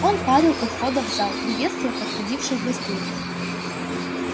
он парил у входа в зал приветствуя подходивших гостей